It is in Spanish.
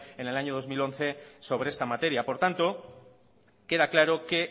en el año dos mil once sobre esta materia por tanto queda claro que